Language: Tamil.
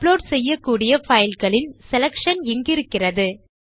அப்லோட் செய்யக்கூடிய பைல்களின் செலக்ஷன் இங்கிருக்கிறது